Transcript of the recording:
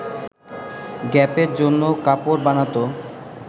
গ্যাপের জন্য কাপড় বানাতো